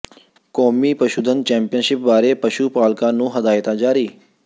ਕੌਮੀ ਪਸ਼ੂਧਨ ਚੈਂਪੀਅਨਸ਼ਿਪ ਬਾਰੇ ਪਸ਼ੂ ਪਾਲਕਾਂ ਨੂੰ ਹਦਾਇਤਾਂ ਜਾਰੀ